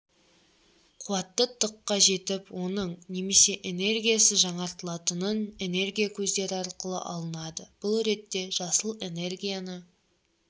қуаты т-қа жетіп оның немесе энергиясы жаңартылатын энергия көздері арқылы алынады бұл ретте жасыл энергияны